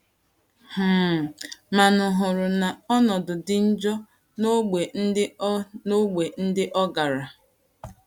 um Manu hụrụ na ọnọdụ dị njọ n’ógbè ndị ọ n’ógbè ndị ọ gara.